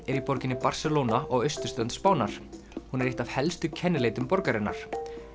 er í borginni Barcelona á austurströnd Spánar hún er eitt af helstu kennileitum borgarinnar